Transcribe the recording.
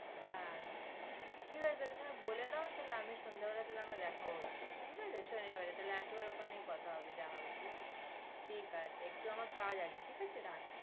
হ্যাঁ ঠিক আছে, তুমি বলে দাও তাহলে আমি সন্ধ্যে বেলা আমরা দেখা হচ্ছে, ঠিক আছে শনিবারে, তাহলে একেবারে ওখানেই কথা হবে যা হবে, ঠিক আছে। ঠিক আছে, একটু আমার কাজ আছে, ঠিক আছে রাখছি।